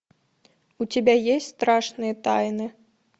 у тебя есть страшные тайны